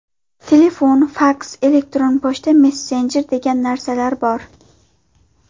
Telefon, faks, elektron pochta, messenjer degan narsalar bor.